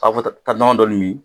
taa nɔnɔ dɔɔnin min